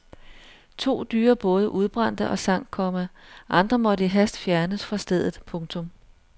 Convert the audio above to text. To dyre både udbrændte og sank, komma andre måtte i hast fjernes fra stedet. punktum